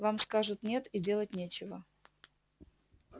вам скажут нет и делать нечего